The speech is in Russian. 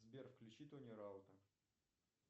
сбер включи тони раута